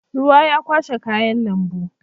Ruwa ya kwashe kayan lambu.